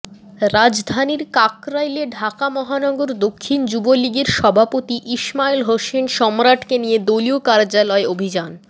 রাজধানীর কাকরাইলে ঢাকা মহানগর দক্ষিণ যুবলীগের সভাপতি ইসমাইল হোসেন সম্রাটকে নিয়ে দলীয় কার্যালয়ে অভিযান